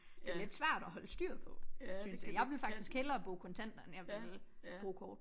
Det er lidt svært at holde styr på synes jeg. Jeg vil faktisk hellere bruge kontamnter end jeg vil bruge kort